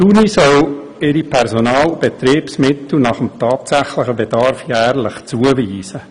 Die Universität soll ihre Personal- und Betriebsmittel nach dem tatsächlichen Bedarf jährlich zuweisen.